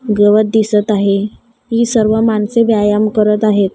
गवत दिसत आहे ही सर्व माणसे व्यायाम करत आहेत.